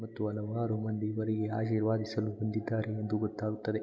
ಮತ್ತು ಹಲವಾರು ಮಂದಿ ಬರಿ ಆಶೀರ್ವದಿಸಲು ಬಂದಿದ್ದಾರೆ ಎಂದು ಗೊತ್ತಾಗುತ್ತದೆ.